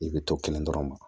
I bɛ to kelen dɔrɔn ma